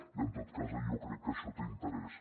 i en tot cas jo crec que això té interès